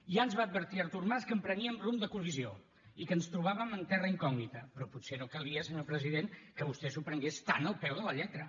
ja ens va advertir artur mas que empreníem rumb de col·lisió i que ens trobàvem en terra incògnita però potser no calia senyor president que vostè s’ho prengués tant al peu de la lletra